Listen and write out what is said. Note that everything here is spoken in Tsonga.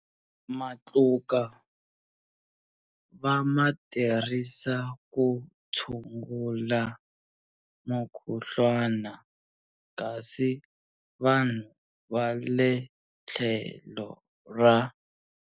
Matluka va ma tirhisa ku tshungula mukhuhlwana kasi vanhu va le tlhelo ra.